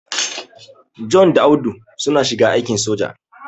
John da Audu suna shiga aikin soja.